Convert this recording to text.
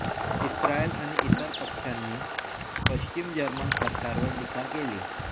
Israel आणि इतर पक्षांनी पश्चिम जर्मन सरकारावर टीका केली